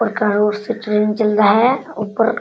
और और से ट्रैन चल रहा है ऊपर।